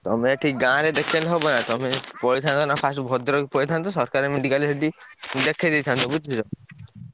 ତମେ ଏଠି ଗାଁରେ ଦେଖେଇଲେ ହବ ନା। ତମେ ପଳେଇଥାନ୍ତ ନା first ଭଦ୍ରକ ପଳେଇଥାନ୍ତ। ସରକାର medical ଯଦି ଦେଖେଇଦେଇଥାନ୍ତ ବୁଝୁଛ।